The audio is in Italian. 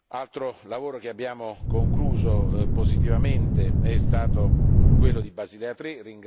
Altro lavoro che abbiamo concluso positivamente è stato quello di Basilea